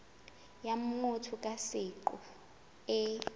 ya motho ka seqo e